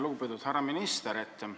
Lugupeetud härra minister!